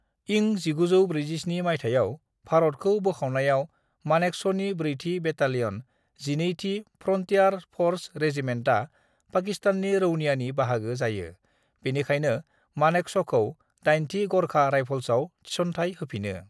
"इं 1947 माइथायाव भारतखौ बोखावनायाव मानेकश'नि ब्रैथि बेटालियन, 12थि फ्रन्टियार फ'र्स रेजिमेन्टआ पाकिस्ताननि रौनियानि बाहागो जायो, बिनिखायनो मानेकश'खौ 8थि ग'रखा राइफल्सआव थिस'नथाइ होफिनो।"